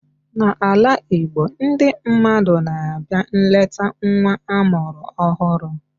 N'ala Igbo, ndị mmadụ na-abịa nleta nwa amụrụ ọhụrụ